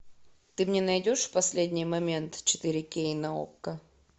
ты мне найдешь последний момент четыре кей на окко